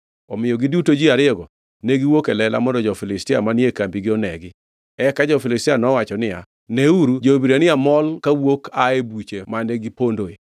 Omiyo giduto ji ariyogo ne giwuok e lela mondo jo-Filistia manie kambigi onegi. Eka jo-Filistia nowacho niya, “Neuru! Jo-Hibrania mol kawuok ae buche mane gipondoe.”